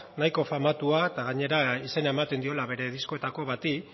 nahiko famatua eta gainera izena ematen diola bere diskoetako bati